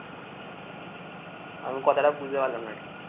আমি কথাটা বুঝতে পারলাম না ঠিক